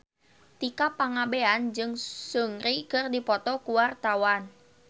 Tika Pangabean jeung Seungri keur dipoto ku wartawan